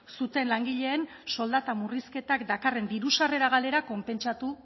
zuten langileen soldata murrizketak dakarren diru sarrera galera konpentsatu